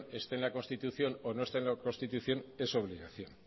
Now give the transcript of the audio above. esté en la constitución o no esté en la constitución es su obligación